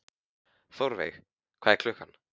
Þórveig, hvað er klukkan?